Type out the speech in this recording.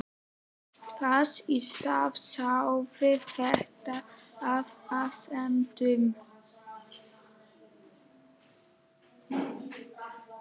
Þess í stað sáði þetta efasemdum.